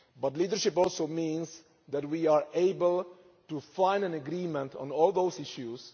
But leadership also means that we are able to find an agreement on all those issues.